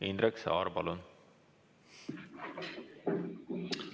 Indrek Saar, palun!